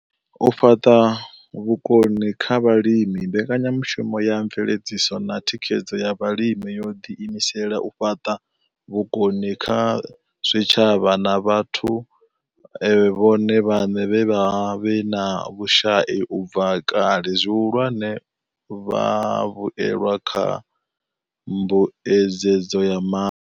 U fhaṱa vhukoni kha vhalimi Mbekanyamushumo ya mveledziso na thikhedzo ya vhalimi yo ḓi imisela u fhaṱa vhukoni kha zwitshavha na vhathu vhone vhaṋe vhe vha vha vhe na vhushai u bva kale, zwihulwane, vhavhuelwa kha mbuedzedzo ya ma.